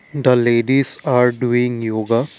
the ladies are doing yoga.